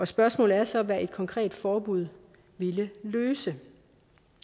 spørgsmålet er så hvad et konkret forbud ville løse